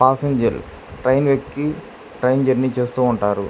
Passenger train వెక్కి train journey చేస్తూ ఉంటారు.